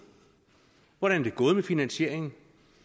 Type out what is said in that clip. hvordan er det gået med finansieringen